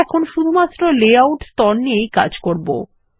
আমরা এখন শুধুমাত্র লেআউট স্তর নিয়েই কাজ করবো